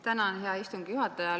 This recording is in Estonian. Tänan, hea istungi juhataja!